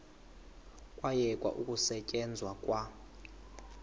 kwayekwa ukusetyenzwa kwa